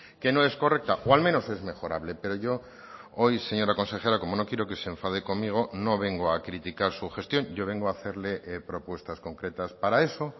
que no es correcta o al menos es mejorable pero yo hoy señora consejera como no quiero que se enfade conmigo no vengo a criticar su gestión yo vengo a hacerle propuestas concretas para eso